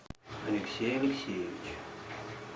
алексей алексеевич